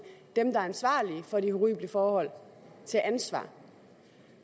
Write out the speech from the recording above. dem der er ansvarlige for de horrible forhold til ansvar